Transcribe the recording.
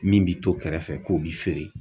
Min bi to kɛrɛfɛ k'o bi feere.